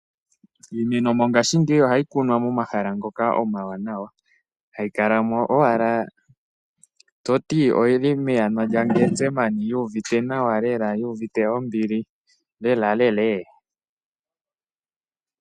Iimeno mongashingeyi ohayi kunwa momahala omawanawa, hayi kalamo owala toti oyili meyana lya getsameni yu uvite nawa lela yu uvite ombili lelalela.